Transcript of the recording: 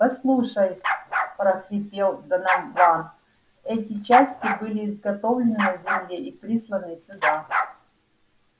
послушай прохрипел донован эти части были изготовлены на земле и присланы сюда